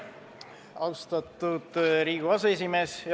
Austatud Riigikogu aseesimees!